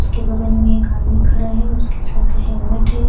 उसके बगल में एक आदमी खड़ा है उसके सर पे हेलमेट है।